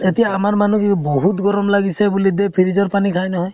এতিয়া আমাৰ মানুহে বহুত গৰম লাগিছে বুলি দে freeze ৰ পানী খাই নহয় ।